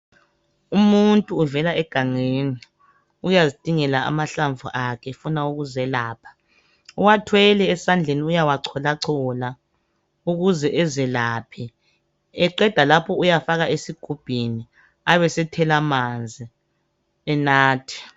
Umuntu uvela egangeni ukuyazidingela amahlamvu akhe efuna ukuzelapha, uwathwele esandleni uyawachola chola ukuze ezelaphe eqeda lapho uyafaka esigubhini abesethela amanzi enathe